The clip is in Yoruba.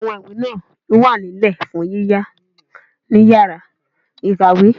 Àwọn ìwé náà yóò wà nílẹ̀ fún yíyá ní yàrá-ìkàwé